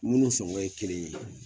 Minnu sɔngɔ ye kelen ye